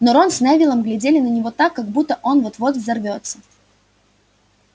но рон с невиллом глядели на него так как будто он вот-вот взорвётся